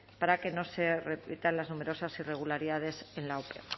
para que no se repitan las numerosas irregularidades en la ope